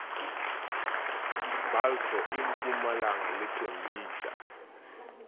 balfour e mpumalanga le thembisa